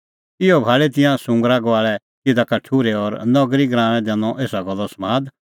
इहअ भाल़ी तिंयां सुंगरा गुआल़ै तिधा का ठुर्है और नगरी गराऊंऐं दैनअ एसा गल्लो समाद